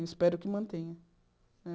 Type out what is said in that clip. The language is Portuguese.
Eu espero que mantenha.